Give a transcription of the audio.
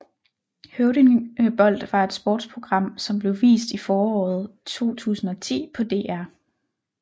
Høvdingebold var et sportsprogram som blev vist i foråret 2010 på DR